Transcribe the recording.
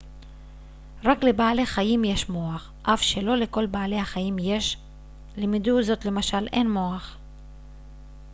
רק לבעלי חיים יש מוח אף שלא לכל בעלי החיים יש; למדוזות למשל אין מוח